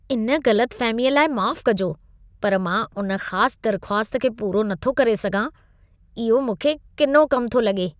इन ग़लतफ़हमी लाइ माफ़ कजो, पर मां उन ख़ास दरख़्वास्त खे पूरो न थो करे सघां। इहो मूंखे किनो कम थो लॻे।